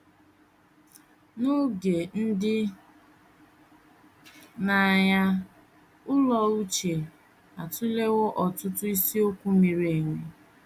N’oge ndị na - anya, Ụlọ uche atụlewo ọtụtụ isiokwu miri emi.